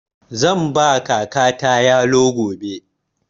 Zan ba kakata yalo gobe.